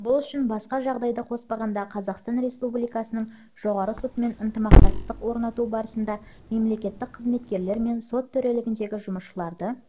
бұл үшін басқа жағдайды қоспағанда қазақстан республикасының жоғарғы сотымен ынтымақтастық орнату барысында мемлекеттік қызметкерлер мен сот төрелігіндегі жұмысшыларды